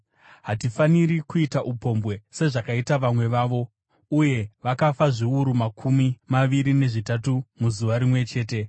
Hatifaniri kuita upombwe, sezvakaita vamwe vavo, uye vakafa zviuru makumi maviri nezvitatu muzuva rimwe chete.